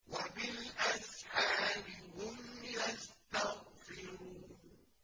وَبِالْأَسْحَارِ هُمْ يَسْتَغْفِرُونَ